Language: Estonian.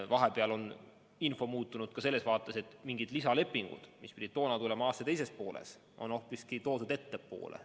Vahepeal on info muutunud ja mingid lisalepingud, mis pidid tulema aasta teises pooles, on hoopiski toodud ettepoole.